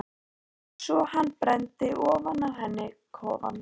Svo hann brenndi ofan af henni kofann!